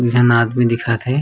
एक जन आदमी दिखत हे।